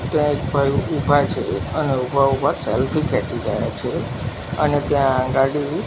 ત્યાં એક ભાઈ ઉભા છે અને ઉભા ઉભા સેલ્ફી ખેચી રહ્યા છે અને ત્યાં ગાડી--